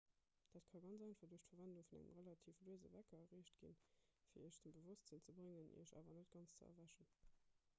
dat ka ganz einfach duerch d'verwendung vun engem relativ luese wecker erreecht ginn fir iech zum bewosstsinn ze bréngen iech awer net ganz ze erwächen